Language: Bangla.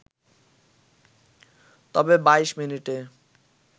তবে ২২ মিনিটে